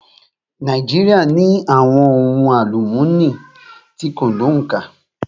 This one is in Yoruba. Nàíjíríà ní àwọn ohun àlúmooni tí kò ní òǹkà.